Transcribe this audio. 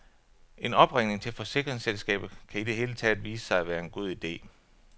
En opringning til forsikringsselskabet kan i det hele taget vise sig at være en god ide.